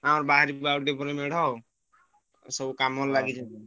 ଆମର ବାହାରିବୁ ଆଉ ଟିକେ ପରେ ମେଢ ଆଉ ସବୁ କାମରେ ଲାଗିଛନ୍ତି।